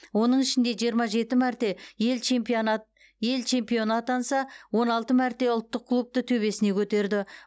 оның ішінде жиырма жеті мәрте ел чемпиона ел чемпионы атанса он алты мәрте ұлттық кубокты төбесіне көтерді